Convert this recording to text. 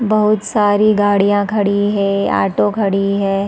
बहुत सारी गाड़ियाँ खड़ी है ऑटो खड़ी हैं ।